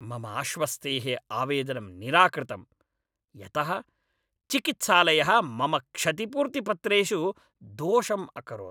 मम आश्वस्तेः आवेदनं निराकृतं, यतः चिकित्सालयः मम क्षतिपूर्तिपत्रेषु दोषम् अकरोत्।